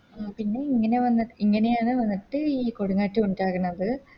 ആ പിന്നെ ഇങ്ങനെ വന്നിട്ട് ഇങ്ങനെയാണ് വന്നിട്ട് ഈ കൊടുംകാറ്റ് ഉണ്ടാകണത്